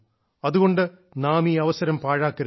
അതുകൊണ്ട് നാം ഈ അവസരം പാഴാക്കരുത്